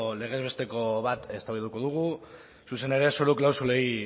legez besteko bat eztabaidatuko dugu zuzen ere zoru klausulei